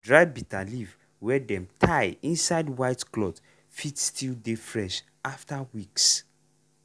dry bitterleaf wey dem tie inside white cloth fit still dey fresh after weeks.